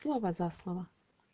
слово за слово